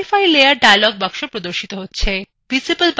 modify layer dialog box প্রদর্শিত হচ্ছে